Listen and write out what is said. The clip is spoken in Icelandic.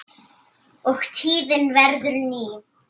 og tíðin verður ný.